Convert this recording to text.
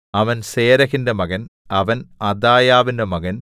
അവൻ സേരഹിന്റെ മകൻ അവൻ അദായാവിന്റെ മകൻ